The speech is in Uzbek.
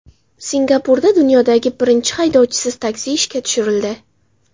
Singapurda dunyodagi birinchi haydovchisiz taksi ishga tushirildi.